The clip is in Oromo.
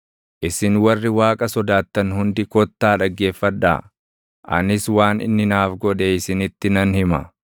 Isin warri Waaqa sodaattan hundi kottaa dhaggeeffadhaa; anis waan inni naaf godhe isinitti nan hima.